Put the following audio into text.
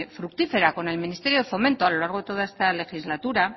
fructífera con el ministerio de fomento a lo largo de toda esta legislatura